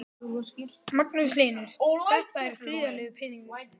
Magnús Hlynur: Þetta er gríðarlegur peningur?